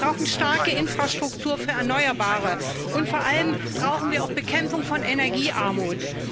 Wir brauchen starke Infrastruktur für Erneuerbare, und vor allem brauchen wir auch Bekämpfung von Energiearmut.